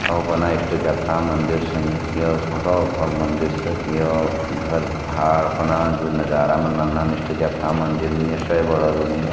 इष्ट देवता मंदिर छन यो यख भोत बड़ो मंदिर छ यो घर भार फणा जु नजारा मनन इष्ट देवता मंदिर ये से बड़ो रॉन यो।